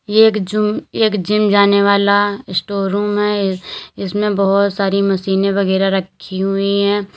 यह एक जून एक जिम जाने वाला स्टोर रूम है इसमें बोहोत सारी मशीनें वगैरा रखी हुई हैं।